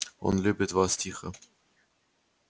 он любит вас тихо